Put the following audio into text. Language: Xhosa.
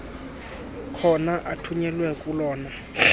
khona athunyelwe kolona